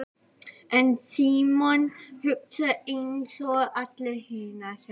En Símon hugsar einsog allir hinir.